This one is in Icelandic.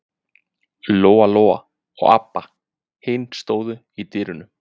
Lóa Lóa og Abba hin stóðu í dyrunum.